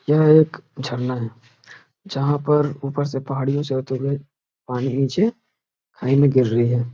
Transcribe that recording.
यह एक झरना है। जहाँ पर ऊपर से पहाड़ियों से होते हुए पानी नीचे खाई में गिर रही है।